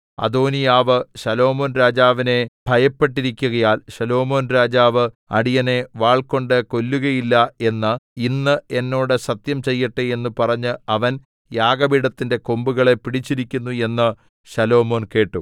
അദോനീയാവ് ശലോമോൻരാജാവിനെ ഭയപ്പെട്ടിരിക്കയാൽ ശലോമോൻ രാജാവ് അടിയനെ വാൾകൊണ്ട് കൊല്ലുകയില്ല എന്ന് ഇന്ന് എന്നോട് സത്യം ചെയ്യട്ടെ എന്ന് പറഞ്ഞ് അവൻ യാഗപീഠത്തിന്റെ കൊമ്പുകളെ പിടിച്ചിരിക്കുന്നു എന്ന് ശലോമോൻ കേട്ടു